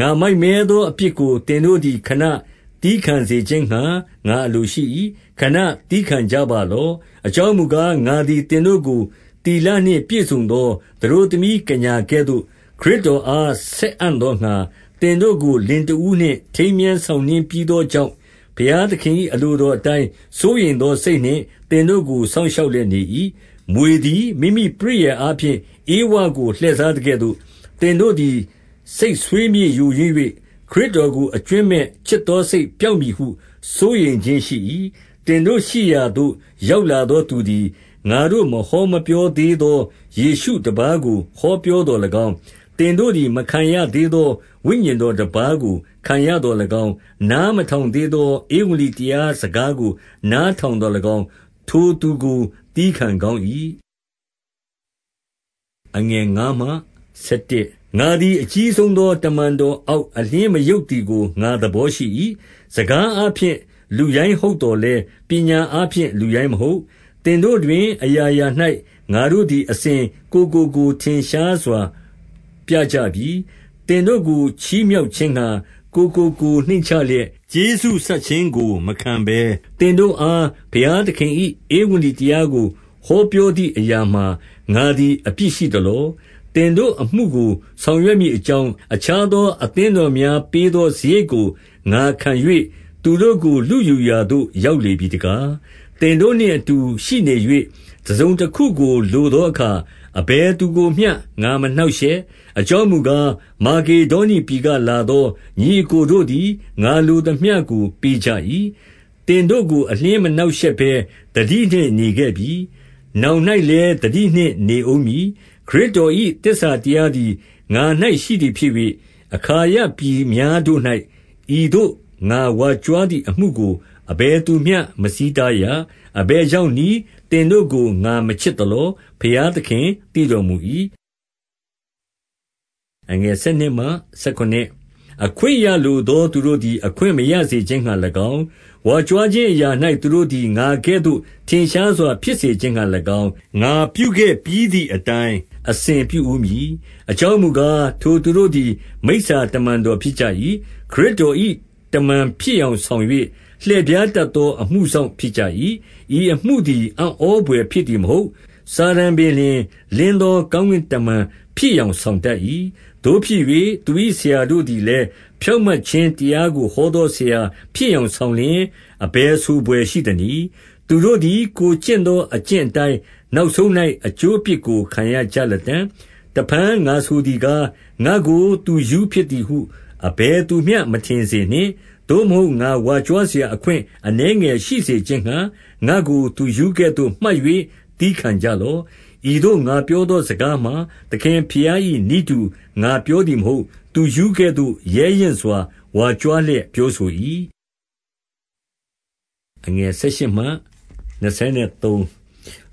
ငါမိုက်မဲသောအပြစ်ကို သင်တို့သည် ခဏသည်းခံစေခြင်းငှါ ငါအလိုရှိ၏။ ခဏသည်းခံကြပါလော့။ 2 အကြောင်းမူကား၊ ငါသည်သင်တို့ကို သီလနှင့် ပြည့်စုံသော သတို့သမီးကညာကဲ့သို့ ခရစ်တော်အား ဆက်အံ့သောငှါ၊ သင်တို့ကို လင်တဦးနှင့် ထိမ်းမြားဆောင်နှင်းပြီးသောကြောင့် ဘုရားသခင်၏ အလိုတော် အတိုင်း စိုးရိမ်သောစိတ်နှင့် သင်တို့ကို စောင့်ရှောက်လျက် နေ၏။ 3 မြွေသည်မိမိပရိယာယ်အားဖြင့် ဧဝကိုလှည့်စားသကဲ့သို့၊ သင်တို့သည် စိတ်ဆွေးမြေ့ယိုယွင်း၍၊ ခရစ်တော်ကို အကြွင်းမဲ့ချစ်သောစိတ် ပျောက်မည်ဟု စိုးရိမ်ခြင်းရှိ၏။ 4 သင်တို့ရှိရာသို့ ရောက်လာသောသူသည် ငါတို့ မဟောမပြောသေးသော ယေရှုတပါးကို ဟောပြောသော်၎င်း၊ သင်တို့သည်မခံရသေးသော ဝိညာဉ်တော်တပါးကို ခံရသော်၎င်း၊ နားမထောင်သေးသော ဧဝံဂေလိတရားစကားကိုနားထောင်သော်၎င်း၊ ထိုသူကို သည်းခံကောင်း၏။ 5 ငါသည်အကြီးဆုံးသော တမန်တော်အောက် အလျှင်းမယုတ်သည်ကို ငါသဘောရှိ၏။ 6 စကားအားဖြင့်လူရိုင်းဟုတ်သော်လည်း၊ ပညာအားဖြင့် လူရိုင်းမဟုတ်။ သင်တို့တွင် အရာရာ၌ ငါတို့ သည်အစဉ် ကိုယ်ကိုကိုယ်ထင်ရှားစွာ ပြကြပြီ။ 7 သင်တို့ကိုချီးမြှောက်ခြင်းငှါ၊ ကိုယ်ကိုကိုယ်နှိမ့်ချလျက်၊ ကျေးဇူးဆပ်ခြင်းကိုမခံဘဲ၊ သင်တို့အား ဘုရား သခင်၏ဧဝံဂေလိတရားကို ဟောပြောသည့်အရာမှာ ငါသည် အပြစ်ရှိသလော။ 8 သင်တို့အမှုကိုဆောင်ရွက်မည်အကြောင်း၊ အခြားသောအသင်းတော်များပေးသောစရိတ်ကို ငါခံ၍၊ သူတို့ကို လုယူရာသို့ရောက်လေပြီတကား။ 9 သင်တို့နှင့်အတူရှိနေ၍ တစုံတခုကိုလိုသောအခါ အဘယ်သူကိုမျှ ငါမနှောင့်ရှက်။ အကြောင်းမူကား၊ မာကေဒေါနိပြည်ကလာသော ညီအစ်ကိုတို့သည် ငါလိုသမျှကိုပေးကြ၏။ သင်တို့ကို အလျှင်းမနှောင့်ယှက်ဘဲ သတိနှင့်နေခဲ့ပြီ။ နောင်၌လည်း သတိနှင့်နေဦးမည်။ 10 ခရစ်တော်၏သစ္စာတရားသည် ငါ၌ ရှိသည် ဖြစ်၍၊ အခါယပြည်များတို့၌ ဤသို့ ငါဝါကြွားသည်အမှု ကို အဘယ်သူမျှမဆီးတားရ။ 11 အဘယ်ကြောင့်နည်း၊ သင်တို့ကိုငါမချစ်သလော။ ဘုရားသခင် သိတော်မူ၏။ 12 အခွင့်ရလိုသောသူတို့သည် အခွင့်မရစေခြင်းငှါ၎င်း၊ ဝါကြွားခြင်းအရာ၌ သူတို့သည် ငါကဲ့သို့ ထင်ရှားစွာ ဖြစ်စေခြင်းငှါ၎င်း၊ ငါပြုခဲ့ပြီးသည်အတိုင်း အစဉ်ပြုဦးမည်။ 13 အကြောင်းမူကား၊ ထိုသူတို့သည် မိစ္ဆာတမန်တော်ဖြစ်ကြ၏။ ခရစ်တော်၏ တမန်ဖြစ်ယောင်ဆောင် ၍ လှည့်ဖြားတတ်သော အမှုစောင့်ဖြစ်ကြ၏။ 14 ဤအမှုသည် အံဩဖွယ်ဖြစ်သည်မဟုတ်။ စာတန်ပင်လျှင် လင်းသောကောင်းကင်တမန်ဖြစ် ယောင်ဆောင်တတ်၏။ 15 သို့ဖြစ်၍သူ၏ဆရာတို့သည်လည်း ဖြောင့်မတ်ခြင်းတရားကို ဟောသောဆရာဖြစ်ယောင်ဆောင်လျှင်၊ အဘယ်ဆိုဘွယ်ရှိသနည်း။ သူတို့သည် ကိုယ်ကျင့်သောအကျင့်အတိုင်း နောက်ဆုံး၌အကျိုးအပြစ်ကို ခံရကြ လတံ့။ 16 တဖန်ငါဆိုသည်ကား၊ ငါ့ကိုသူရူးဖြစ်သည်ဟု အဘယ်သူမျှ မထင်စေနှင့်။ သို့မဟုတ်ငါဝါကြွားစရာ အခွင့်အနည်းငယ်ရှိစေခြင်းငှါ ငါ့ကိုသူရူးကဲ့သို့ မှတ်၍ သည်းခံကြလော့။ 17 ဤသို့ငါပြောသောစကားမှာ သခင်ဘုရား၏ နည်းတူငါပြောသည်မဟုတ်။ သူရူးကဲ့သို့ ရဲရင့်စွာ ဝါကြွား လျက်ပြောဆို၏။ 18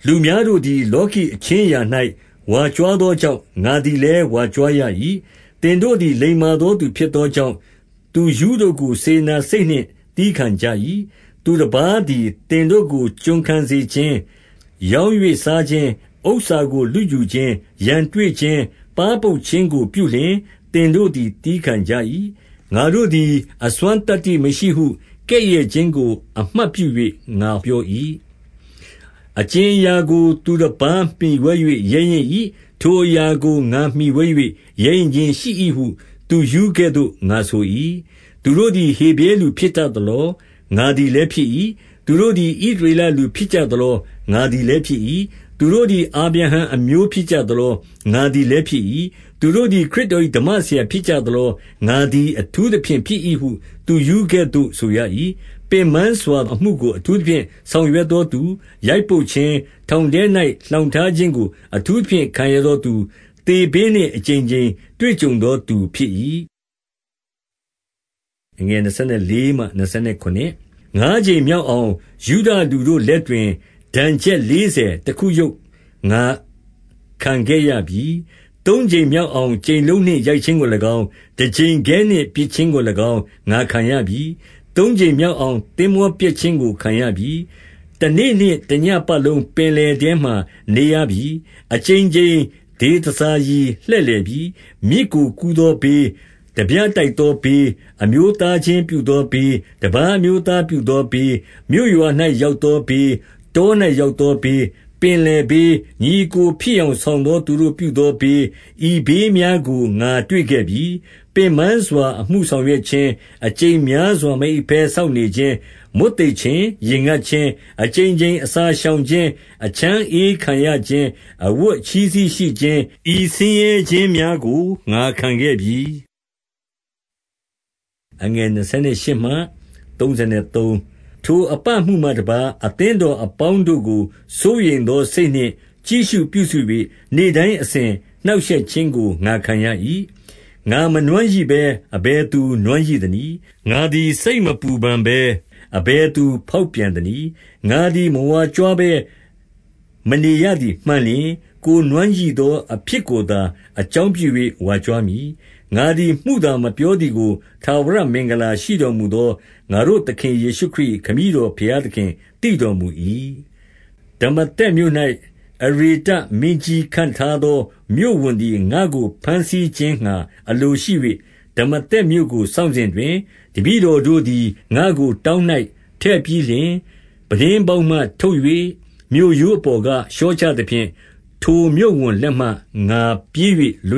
လူများတို့သည် လောကီအခြင်းအရာ၌ ဝါကြွား သောကြောင့် ငါသည်လည်းဝါကြွားရ၏။ 19 သင်တို့သည်လိမ္မာသောသူဖြစ်သောကြောင့်၊ သူရူးတို့ကို စေတနာစိတ်နှင့် သည်းခံကြ၏။ 20 သူတပါးသည်သင်တို့ကို ကျွန်ခံစေခြင်း၊ ရောင်း၍စားခြင်း၊ ဥစ္စာကိုလုယူခြင်း၊ ရန်တွေ့ခြင်း၊ ပါးပုတ် ခြင်းကိုပြုလျှင် သင်တို့သည် သည်းခံကြ၏။ 21 ငါတို့သည်အစွမ်းသတ္တိမရှိဟုကဲ့ရဲ့ခြင်းကို အမှတ်ပြု၍ ငါပြော၏။ အကြင်အရာကို သူတပါး မှီဝဲ၍ ရဲရင့်၏။ ထိုအရာကိုငါမှီဝဲ၍ ရဲရင့်ခြင်းရှိ၏ဟု သူရူးကဲ့သို့ငါဆို၏။ 22 သူတို့သည် ဟေဗြဲလူဖြစ်ကြသလော။ ငါသည်လည်းဖြစ်၏။ သူတို့သည် ဣသရေလလူဖြစ်ကြသလော။ ငါသည်လည်းဖြစ်၏။ သူတို့သည်အာဗြဲဟံ အမျိုးဖြစ်ကြသလော။ ငါသည်လည်းဖြစ်၏။ 23 သူတို့သည်ခရစ်တော်၏ ဓမ္မဆရာဖြစ်ကြသလော။ငါသည် အထူးသဖြင့်ဖြစ်၏ဟု သူရူးကဲ့သို့ဆိုရ၏။ ပင်ပန်းစွာအမှုကို အထူးသဖြင့်ဆောင်ရွက်သောသူ၊ ရိုက်ပုတ်ခြင်း၊ ထောင်ထဲ၌လှောင်ထားခြင်းကို အထူး သဖြင့် ခံရသောသူ၊ သေဘေးနှင့် အကြိမ်ကြိမ် တွေ့ကြုံသောသူဖြစ်၏။ 24 ငါးကြိမ်မြောက်အောင် ယုဒလူတို့လက်တွင် ဒဏ်ချက် လေးဆယ်တခု ယုတ်ငါခံခဲ့ရပြီ။ 25 သုံးကြိမ်မြောက်အောင်ကြိမ်လုံးနှင့် ရိုက်ခြင်းကို၎င်း၊ တကြိမ်ခဲနှင့်ပစ်ခြင်းကို၎င်း ငါခံရပြီ။ သုံးကြိမ် မြောက်အောင် သင်္ဘောပျက်ခြင်းကို ခံရပြီ။ တနေ့နှင့် တညဉ့်ပတ်လုံး ပင်လယ်ထဲမှာ နေရပြီ။ 26 အကြိမ်ကြိမ်ဒေသစာရီလှည့်လည်ပြီး။ မြစ်ကို ကူးသောဘေး၊ ထားပြတိုက်သောဘေး၊ အမျိုးသားချင်း ပြုသောဘေး၊ တပါးအမျိုးသားပြုသောဘေး၊ မြို့ရွာ၌ ရောက်သောဘေး၊ တော၌ရောက်သောဘေး၊ ပင်လယ် ဘေး၊ ညီအစ်ကိုဖြစ်ယောင်ဆောင်သော သူတို့ပြုသော ဘေး၊ ဤဘေးများကို ငါတွေ့ခဲ့ပြီ။ 27 ပင်ပန်းစွာအမှုဆောင်ရွက်ခြင်း၊ အကြိမ်များစွာ မအိပ်ဘဲစောင့်နေခြင်း၊ မွတ်သိပ်ခြင်း၊ ရေငတ်ခြင်း၊ အကြိမ်ကြိမ်အစာရှောင်ခြင်း၊ အချမ်းအအေးခံရခြင်း၊ အဝတ်အချည်းစည်းရှိခြင်း၊ ဤဆင်းရဲခြင်းများကို ငါခံ ခဲ့ပြီ။ 28 ထိုအပမှုမှတပါး၊ အသင်းတော်အပေါင်းတို့ကို စိုးရိမ်သောစိတ်နှင့် ကြည့်ရှုပြုစု၍ နေ့တိုင်းအစဉ် နှောင့်ရှက်ခြင်းကို ငါခံခဲ့ရ၏။ 29 ငါမနွမ်းရိဘဲ အဘယ်သူနွမ်းရိသနည်း။ ငါသည် စိတ်မပူပန်ဘဲ အဘယ်သူဖေါက်ပြန်သနည်း။ 30 ငါသည်မဝါကြွားဘဲမနေရသည်မှန်လျှင်၊ ကိုယ်နွမ်းရိသောအဖြစ်ကိုသာ အကြောင်းပြု၍ ဝါကြွားမည်။ 31 ငါသည်မုသာမပြောသည်ကို ထာဝရမင်္ဂလာရှိတော်မူသော ငါတို့သခင်ယေရှုခရစ်၏ခမည်းတော် ဘုရားသခင်သိတော်မူ၏။ 32 ဒမာသက်မြို့၌ အရေတ မင်းကြီးခန့်ထားသောမြို့ဝန်သည် ငါ့ကို ဘမ်းဆီးခြင်းငှါအလိုရှိ၍၊ ဒမာသက် မြို့ကိုစောင့်စဉ်တွင်၊ 33 တပည့်တော်တို့သည် ငါ့ကိုတောင်း၌ ထည့်ပြီးလျှင်၊ ပြတင်းပေါက်မှထုတ်၍ မြို့ရိုးပေါ်က လျှော့ချ သဖြင့် ထိုမြို့ဝန်လက်မှ ငါပြေး၍လွ